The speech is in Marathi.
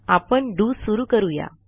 आपण डीओ सुरू करूया